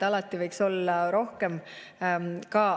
Alati võiks olla rohkem.